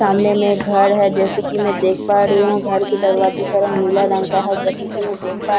सामने में एक घर है जैसे कि मैं देख पा रही हूँ घर के दरवाजे का रंग नीला रंग का है जैसे कि मैं देख पा --